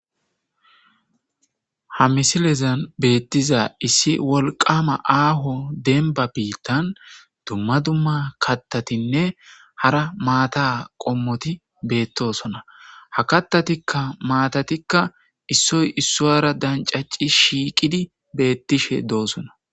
Ha misilezan betizay wolqama aho denba bitan dumma dumma katatinne hara maata qommoti betosona ha katatikka maatatikka Issoy issuwara dancaci shiiqidi betishe dosona